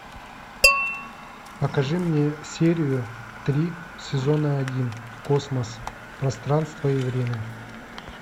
покажи мне серию три сезона один космос пространство и время